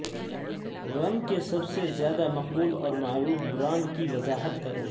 رم کے سب سے زیادہ مقبول اور معروف برانڈ کی وضاحت کریں